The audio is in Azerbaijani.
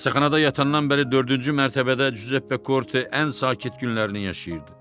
Xəstəxanada yatandan bəri dördüncü mərtəbədə Giuseppe Korte ən sakit günlərini yaşayırdı.